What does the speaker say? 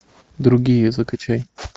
другие закачай